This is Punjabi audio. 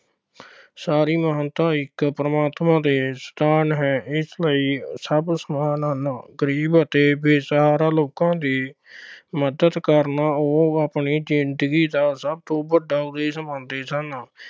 ਸਾਰੀ ਮਾਨਵਤਾ ਇੱਕ ਪ੍ਰਮਾਤਮਾ ਦੀ ਸੰਤਾਨ ਹੈ। ਇਸ ਲਈ ਸਭ ਸਮਾਨ ਹਨ। ਗਰੀਬ ਅਤੇ ਬੇਸਹਾਰਾ ਲੋਕਾਂ ਦੀ ਮੱਦਦ ਕਰਨਾ ਉਹ ਆਪਣੀ ਜਿੰਦਗੀ ਦਾ ਸਭ ਤੋਂ ਵੱਡਾ ਉਦੇਸ਼ ਮੰਨਦੇ ਸਨ।